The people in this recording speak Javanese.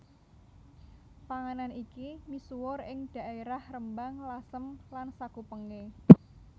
Panganan iki misuwur ing dhaerah Rembang Lasem lan sakupenge